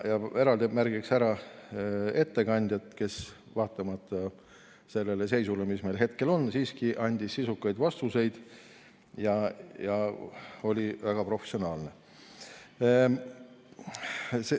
Eraldi märgin ära ettekandja, kes vaatamata sellele seisule, mis meil hetkel on, andis siiski sisukaid vastuseid ja oli väga professionaalne.